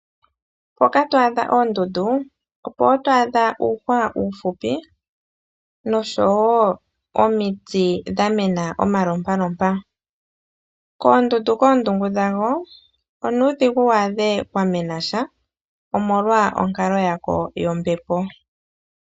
Mpoka twaadha oondundu opo wo twaadha uuhwa uufupi, nosho wo omiti dhamena omalompalompa. Koondundu koondungu dhadho, onuudhigu waadhe kwamenasha, omolwa onkalo yako yombepo.